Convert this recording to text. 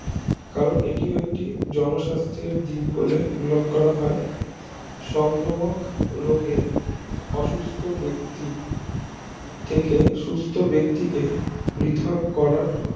কারণ এটি একটি জনস্বার্থে দীপ বলে উল্লেখ করা হয় সংক্রমক রোগে অসুস্থ ব্যক্তি থেকে সুস্থ ব্যাক্তিকে পৃথক করার